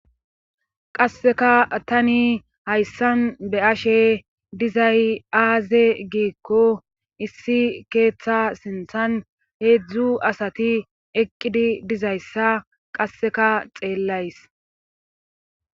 Qasseka tani hayssan be'ashe dizzay aaze giikko issi keeththa sinthan heedzdzu asati eqqidi dizayssa qasseka xeellays.